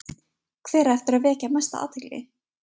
Hver á eftir að vekja mesta athygli?